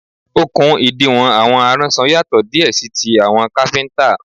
Okùn ìdiwọ̀n àwọn aránṣọ yàtò díè sí ti àwọn káfíntà.